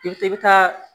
I bi i bi taa